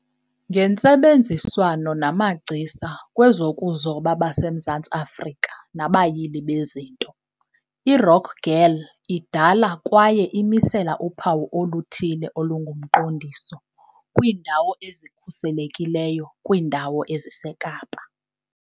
Ngentsebenziswano namagcisa kwezokuzoba baseMzantsi Afrika nabayili bezinto, iRock Girl idala kwaye imisela uphawu oluthile olungumqondiso "kwiiNdawo eziKhuselekileyo" kwiindawo eziseKapa.